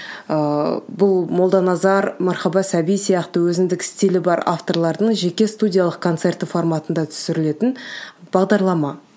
ыыы бұл молданазар мархаба сәби сияқты өзіндік стилі бар авторлардың жеке студиялық концерті форматында түсірілетін бағдарлама